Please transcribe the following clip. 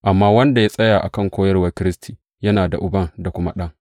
Amma wanda ya tsaya a kan koyarwar Kiristi, yana da Uban da kuma Ɗan.